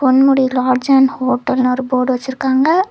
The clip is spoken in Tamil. பொன்முடி லாட்ஜ் அண்ட் ஹோட்டல்னு ஒரு போர்டு வச்சிருக்காங்க.